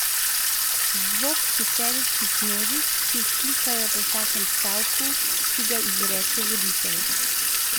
Zvok histeričnih množic, ki vzklikajo po vsakem stavku, ki ga izreče Voditelj.